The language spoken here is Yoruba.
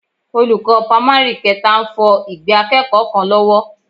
Olùkọ́ pámárì kẹta ń fọ ìgbẹ́ akẹ́kọ̀ọ́ kan lọ́wọ́